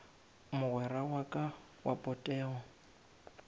mogwera wa ka wa potego